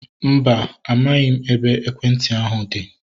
Mba, amaghị m ebe ekwentị ahu dị